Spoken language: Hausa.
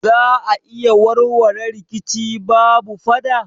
Za a iya warware rikici babu fada?